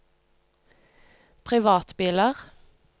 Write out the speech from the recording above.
privatbiler